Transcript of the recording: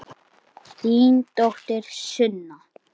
Þín dóttir Sunna.